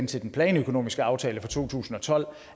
til den planøkonomiske aftale fra to tusind og tolv